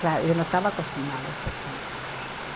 Claro, eu não estava acostumada a esse clima.